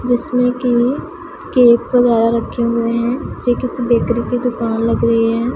जिसमें की केक बनाए रखे हुएं हैं जे किसी बेकरी की दुकान लग रहीं हैं।